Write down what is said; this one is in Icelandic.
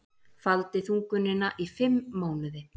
Faldi þungunina í fimm mánuði